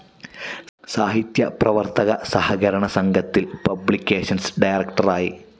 സാഹിത്യ പ്രവർത്തക സഹകരണ സംഘത്തിൽ പബ്ലിക്കേഷൻസ്‌ ഡയറക്ടറായി.